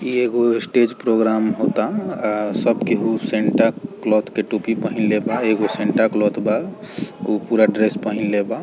इ एगो stage program होता आ सब केहु सेंटा क्लॉथ के टोपी पहनले बा एगो सेंटा क्लॉथ बा उ पूरा ड्रेस पहिनले बा।